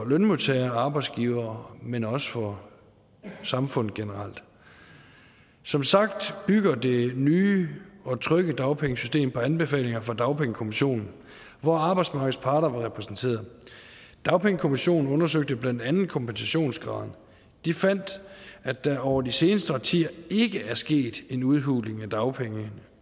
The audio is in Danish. lønmodtagere og arbejdsgivere men også for samfundet generelt som sagt bygger det nye og trygge dagpengesystem på anbefalinger fra dagpengekommissionen hvor arbejdsmarkedets parter var repræsenteret dagpengekommissionen undersøgte blandt andet kompensationsgraden de fandt at der over de seneste årtier ikke er sket en udhuling af dagpengene